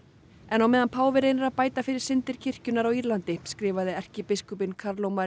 en á meðan páfi reynir að bæta fyrir syndir kirkjunnar á Írlandi skrifaði erkibiskupinn